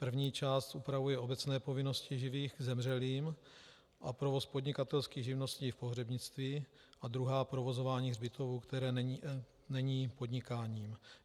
První část upravuje obecné povinnosti živých k zemřelým a provoz podnikatelských živností v pohřebnictví a druhá provozování hřbitovů, které není podnikáním.